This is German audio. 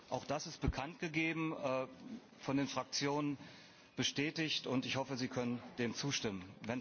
Auch das ist bekanntgegeben und von den Fraktionen bestätigt. Ich hoffe, Sie können dem zustimmen.